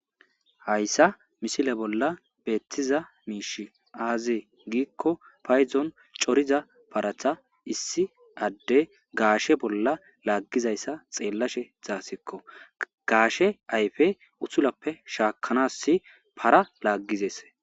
Haysa misile bolla betiza mishy aze gikon paydon coriza parata issi Adey gashe bolla lagizaysa xelashe daysiko Gashe ayfe utulafe shakanas para lagidesi.